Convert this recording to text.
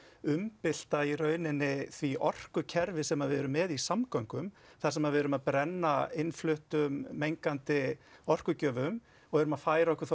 umbylta í rauninni því orkukerfi sem við erum með í samgöngum þar sem við erum að brenna innfluttum mengandi orkugjöfum og erum að flytja okkur